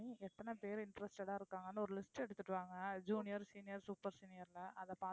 எத்தனை பேரு interested ஆ இருக்காங்கன்னு ஒரு list எடுத்துட்டு வாங்க junior, senior, super senior னு அதை பாத்து~